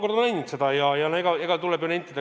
No ma olen seda mitu korda maininud.